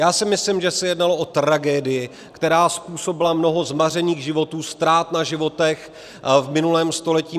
Já si myslím, že se jednalo o tragédii, která způsobila mnoho zmařených životů, ztrát na životech v minulém století.